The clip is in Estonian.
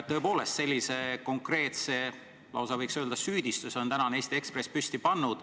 Tõepoolest, sellise konkreetse, lausa võiks öelda süüdistuse on tänane Eesti Ekspress püsti pannud.